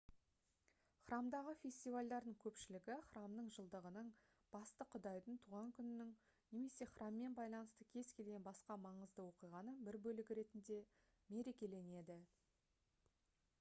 храмдағы фестивальдардың көпшілігі храмның жылдығының басты құдайдың туған күнінің немесе храммен байланысты кез келген басқа маңызды оқиғаның бір бөлігі ретінде мерекеленеді